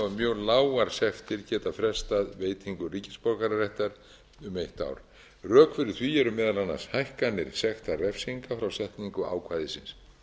mjög lágar sektir geta frestað veitingu ríkisborgararéttar um eitt ár rök fyrir því eru meðal annars hækkanir sektarrefsinga frá setningu ákvæðisins